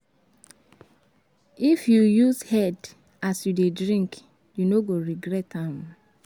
If you use head as you dey drink, you no go regret am.